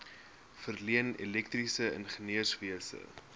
verleen elektriese ingenieurswese